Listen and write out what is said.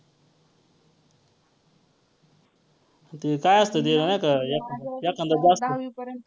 ते काय असतं ते. एकांदा जास्त